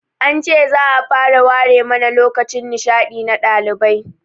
An ce za'a fara ware mana lokacin nishaɗi na ɗalibai